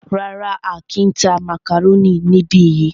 Rárá,á kìí tá màkàrónì níbi yìí.